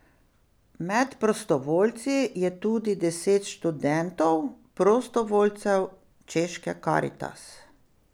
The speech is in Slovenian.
Med prostovoljci je tudi deset študentov, prostovoljcev češke Karitas.